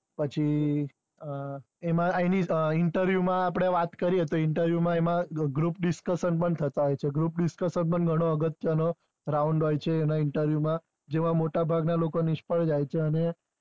પછી એમાં આપડે interview માં આપડે વાત કર્યે તો interview માં એમાં group discussion પણ થતા હોય છે group discussion પણ ઘણો અગત્ય નો round હોય છે, એના interview માં મોટા ભાગ ના લોક નિષ્ફળ જાય છે.